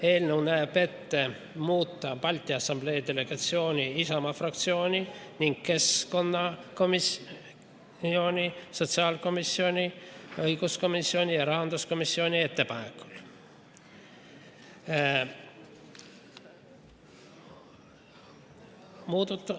Eelnõu näeb ette muuta Balti Assamblee delegatsiooni Isamaa fraktsiooni ning keskkonnakomisjoni, sotsiaalkomisjoni, õiguskomisjoni ja rahanduskomisjoni ettepanekul.